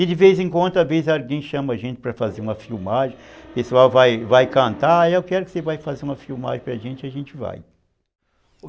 E de vez em quando, às vezes alguém chama a gente para fazer uma filmagem, o pessoal vai vai cantar, eu quero que você vai fazer uma filmagem para a gente, a gente vai.